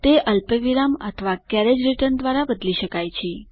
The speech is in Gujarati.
તે અલ્પવિરામ અથવા કેરેજ રીટર્ન દ્વારા બદલી શકાય છે